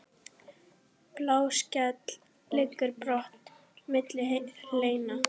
Bláskel liggur brotin milli hleina.